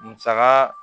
Musaka